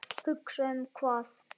Hugsa um hvað?